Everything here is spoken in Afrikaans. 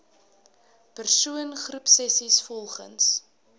persoon groepsessies volgens